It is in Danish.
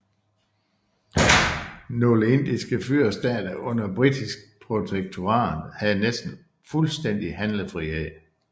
Nogle indiske fyrstestater under britisk protektorat havde næsten fuldstændig handlefrihed